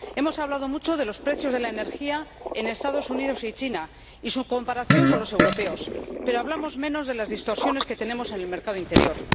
Hemos hablado mucho de los precios de la energía en los Estados Unidos y China y de su comparación con los europeos, pero hablamos menos de las distorsiones que tenemos en el mercado interior.